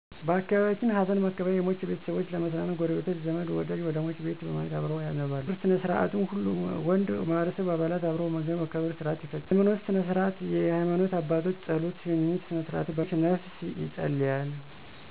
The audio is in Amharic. በአካባቢየችን ሀዘንመቀበያ የሟች ቤተሰቦች ለመጽናናት ጉረቤቶች፣ ዘመድወደጅ ወደሟች ቤት በመሄድ አብረዉ ያነባሉ _የቀብር ስነስርአት፣ አስከሬኑ ባብዛኘዉ ከተለቀሰበት ቀነ በኋላ ወይም በነጋታው ይለቀሳል ይለቀሳል_የቀበርስነስርአትሁሉም ወንድ የማህበረሰቡ አባላት አብረዉ በመገኘት የቀብር ስርአት ይፈጸማል _ምግብማብላት በለቅሶወቅት ለሟች ቤተሰብ የሚቀርበዉ ምግብ ባብዛኘዉ የሚዘጋጀዉ በጉረቤቶቾ እና በቅርብ ዘመዶች ነዉ ነዉ_የሀይማኖት ስነስርዓት የሀይማኖት አባቶች የጾለት እና የሽኝት ስነስርአቶችን በማካሄድ ለሟችነፍስ የጸልያሉ።